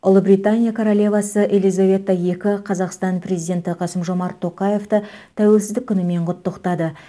ұлыбритания королевасы елизавета екі қазақстан президенті қасым жомарт тоқаевты тәуелсіздік күнімен құттықтады